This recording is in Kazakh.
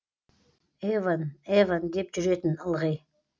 евон евон деп жүретін ылғи